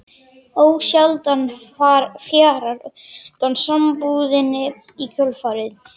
Ósjaldan fjarar undan sambúðinni í kjölfarið.